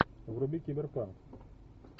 вруби киберпанк